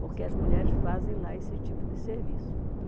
Porque as mulheres fazem lá esse tipo de serviço.